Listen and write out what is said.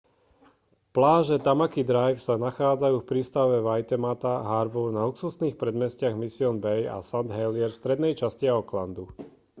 pláže tamaki drive sa nachádzajú v prístave waitemata harbour na luxusných predmestiach mission bay a st heliers v strednej časti aucklandu